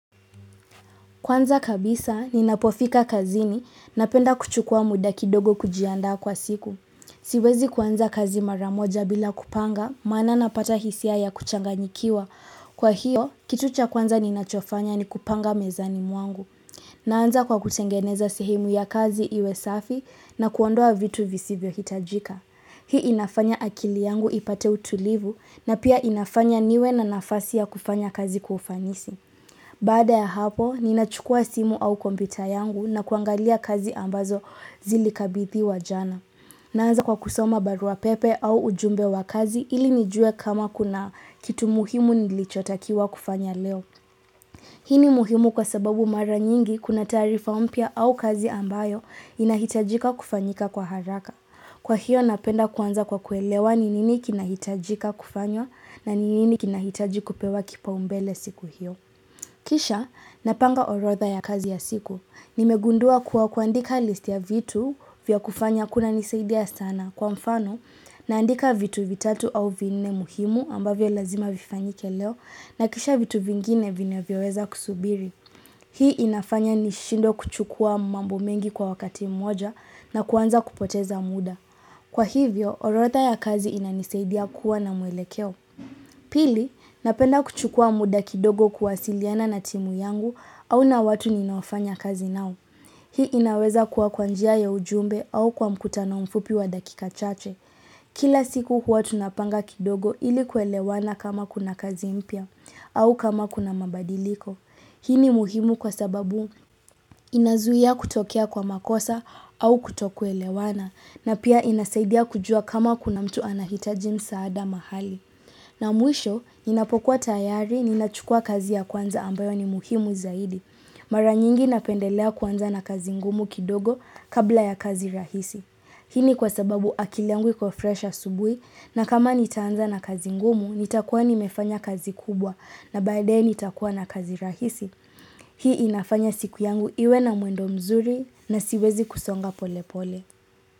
Kwanza kabisa, ninapofika kazini napenda kuchukua muda kidogo kujiandaa kwa siku. Siwezi kuanza kazi maramoja bila kupanga, maana napata hisia ya kuchanganyikiwa. Kwa hiyo, kitu cha kwanza ninachofanya ni kupanga mezani mwangu. Naanza kwa kutengeneza sehemu ya kazi iwe safi na kuondoa vitu visivyo hitajika. Hii inafanya akili yangu ipate utulivu na pia inafanya niwe na nafasi ya kufanya kazi kwa ufanisi. Baada ya hapo, ninachukua simu au kompyuta yangu na kuangalia kazi ambazo zilikabithiwa jana. Naanza kwa kusoma barua pepe au ujumbe wa kazi ili nijue kama kuna kitu muhimu nilichotakiwa kufanya leo. Hii ni muhimu kwa sababu mara nyingi kuna taarifa mpya au kazi ambayo inahitajika kufanyika kwa haraka. Kwa hiyo napenda kuanza kwa kuelewa ni nini kinahitajika kufanywa na ni nini kinahitaji kupewa kipaumbele siku hiyo. Kisha, napanga orodha ya kazi ya siku. Nimegundua kuwa kuandika listi ya vitu vya kufanya kunanisaidia sana kwa mfano naandika vitu vitatu au vinne muhimu ambavyo lazima vifanyike leo na kisha vitu vingine vinavyoweza kusubiri. Hii inafanya ni shindwe kuchukua mambo mengi kwa wakati moja na kuanza kupoteza muda. Kwa hivyo, orodha ya kazi inanisaidia kuwa na muelekeo. Pili, napenda kuchukua muda kidogo kuwasiliana na timu yangu au na watu ninaofanya kazi nao. Hii inaweza kuwa kwa njia ya ujumbe au kwa mkutano mfupi wa dakika chache. Kila siku huwa tunapanga kidogo ili kuelewana kama kuna kazi mpya au kama kuna mabadiliko. Hii ni muhimu kwa sababu inazuia kutokea kwa makosa au kutokuelewana na pia inasaidia kujua kama kuna mtu anahitaji msaada mahali. Na mwisho, ninapokuwa tayari, ninachukua kazi ya kwanza ambayo ni muhimu zaidi. Mara nyingi napendelea kuanza na kazi ngumu kidogo kabla ya kazi rahisi. Hii ni kwa sababu akili yangu iko fresh asubuhi na kama nitaanza na kazi ngumu, nitakuwa nimefanya kazi kubwa na baadaye nitakuwa na kazi rahisi. Hii inafanya siku yangu iwe na mwendo mzuri na siwezi kusonga pole pole.